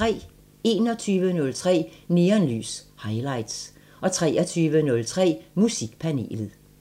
21:03: Neonlys – Highlights 23:03: Musikpanelet